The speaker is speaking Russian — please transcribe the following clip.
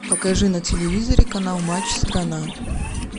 покажи на телевизоре канал матч страна